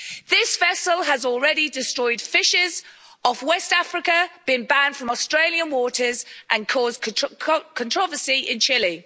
This vessel has already destroyed fishes off West Africa, been banned from Australian waters and caused controversy in Chile.